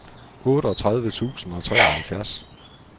otteogtredive tusind og treoghalvfjerds